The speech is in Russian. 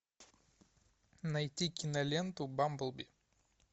найти киноленту бамблби